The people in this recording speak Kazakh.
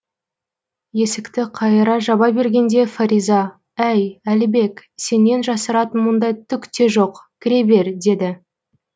есікті қайыра жаба бергенде фариза әй әлібек сенен жасыратын мұнда түк те жоқ кіре бер деді